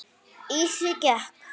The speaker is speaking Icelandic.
Í því gekk